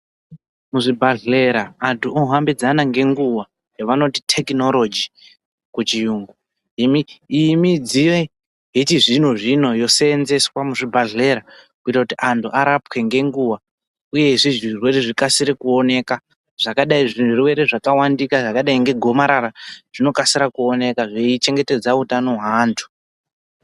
Kuzvibhadhlera antu ohambidzana ngenguwa yavanoti tekinoroji muchiyungu iyi mi iyi midziyo yechizvino zvino yosenzeswa muchibhadhlera kuita kuti antu arapwe ngenguwa uyezve zvirwerw zvikasire kuoneka zvakadai zvezvirwere zvakawandika zvakadai ngegomarara zvinokasika kuoneka zveichengetedza utano hwaantu.